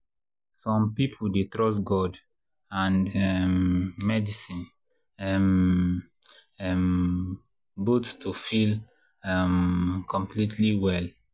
some people dey trust god and um medicine um um both to feel um completely well.